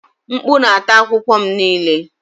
Mkpu na-ata akwụkwọ m niile.